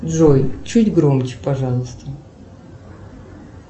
джой чуть громче пожалуйста